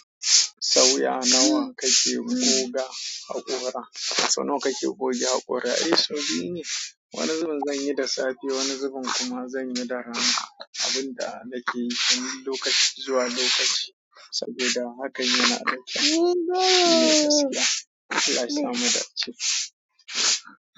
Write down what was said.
Sauya nawa kake goga haƙora, so nawa kake goge haƙora? Eh sun biyu ne, wani zubin zan yi da safe wani zubin kuma zan yi da rana. Abun da nake yi tun lokaci zuwa lokaci saboda haka yana da kyau. Eh gaskiya, Allah yasa mu dace.